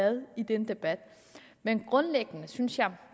med i den debat men